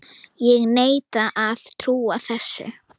Ég neita að trúa þessu!